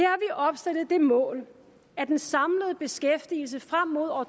opstillet det mål at den samlede beskæftigelse frem mod år